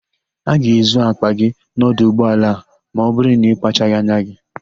A ga-ezu àkpà gị n'ọdụ ụgbọala a ma ọbụrụ na ịkpachaghị anya.